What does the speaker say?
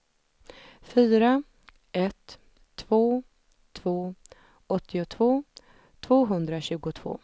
fyra ett två två åttiotvå tvåhundratjugotvå